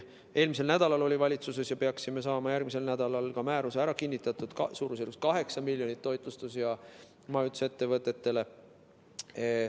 Eelmisel nädalal oli valitsuses ja peaksime saama järgmisel nädalal ka määruse ära kinnitatud, et suurusjärgus 8 miljonit läheks toitlustus- ja majutusettevõtetele.